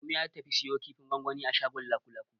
Adamu ya tafi ya siyo kifin gwangwani a shagon Lakulaku.